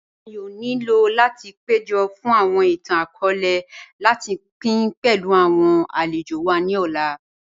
À yóò nílò láti péjọ́ fun awọn ìtàn-akọọ̀lẹ̀ láti pín pẹ̀lú awọn alẹ̀jò wa ni òlà.